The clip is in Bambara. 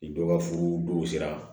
Ni dɔ ka furu dɔw sera